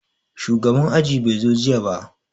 Shugaban aji bai zo jiya ba